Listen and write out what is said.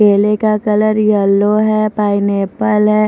केले का colour yellow है पाइनएप्पल है।